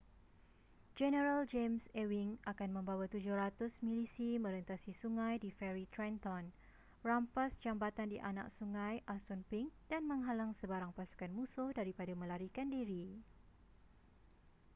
jeneral james ewing akan membawa 700 milisi merentasi sungai di feri trenton rampas jambatan di anak sungai assunpink dan menghalang sebarang pasukan musuh daripada melarikan diri